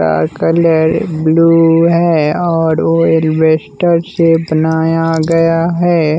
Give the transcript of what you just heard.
का colour blue है और वो एल्वेस्टर से बनाया गया है।